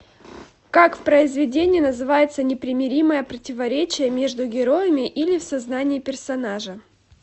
как в произведении называется непримиримое противоречие между героями или в сознании персонажа